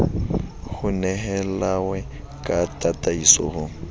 ho nehelawe ka tataiso ho